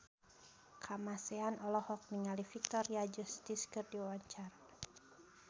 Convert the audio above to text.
Kamasean olohok ningali Victoria Justice keur diwawancara